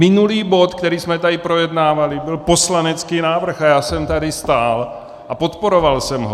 Minulý bod, který jsme tady projednávali, byl poslanecký návrh a já jsem tady stál a podporoval jsem ho.